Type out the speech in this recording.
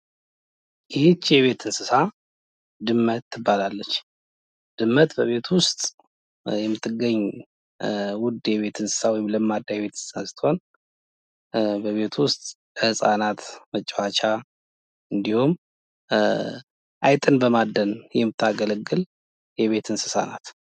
ይች እንስሳት ድመት ትባላለች። ድመት በቤት ውስጥ የምትገኝ ውድ ወይም ለማዳ የቤት እንስሳት ስትሆን በቤት ውስጥ ህፃናት መጫዎቻ ወይም አይጥን በማደን የምታገለግል የቤት እንስሳት ናት።